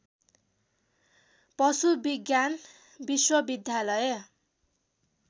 पशु विज्ञान विश्वविद्यालय